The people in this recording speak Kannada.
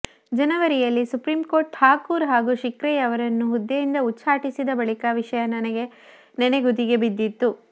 ಜನವರಿಯಲ್ಲಿ ಸುಪ್ರೀಂಕೋರ್ಟ್ ಠಾಕೂರ್ ಹಾಗೂ ಶಿರ್ಕೆಯವರನ್ನು ಹುದ್ದೆಯಿಂದ ಉಚ್ಚಾಟಿಸಿದ ಬಳಿಕ ವಿಷಯ ನೆನಗುದಿಗೆ ಬಿದ್ದಿತ್ತು